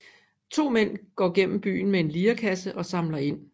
To mænd går gennem byen med en lirekasse og samler ind